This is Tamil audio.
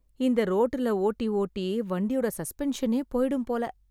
இந்த ரோட்டுல ஓட்டி ஓட்டி வண்டியோட சஸ்பென்ஷனே போயிடும் போல.